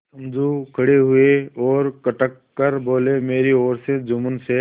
समझू खड़े हुए और कड़क कर बोलेमेरी ओर से जुम्मन शेख